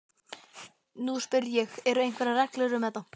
Nú spyr ég- eru einhverjar reglur um þetta?